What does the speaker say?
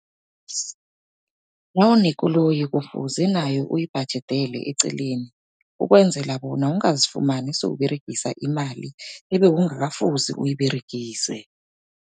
Nawunekoloyi kufuze nayo uyibhajedele eceleni, ukwenzela bona ungazifumani sewuberegisa imali ebekungakafuzi uyiberegise.